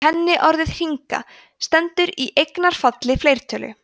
kenniorðið hringa stendur í eignarfalli fleirtölu